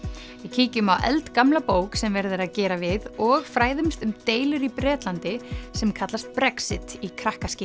kíkjum á eldgamla bók sem verið er að gera við og fræðumst um deilur í Bretlandi sem kallast Brexit í